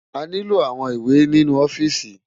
Àniló áwòn iwé ninú òfìsí